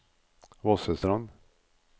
Vossestrand